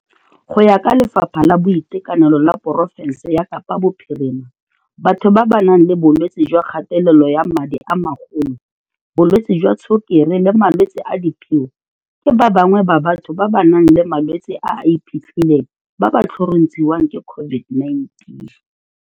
Go ya ka Lefapha la Boitekanelo la porofense ya Kapa Bophirima, batho ba ba nang le bolwetse jwa kgatelelo ya madi a magolo, bolwetse jwa tshukiri le malwetse a diphio ke ba bangwe ba batho ba ba nang le malwetse a a iphitlhileng ba ba tlhorontshiwang ke COVID-19.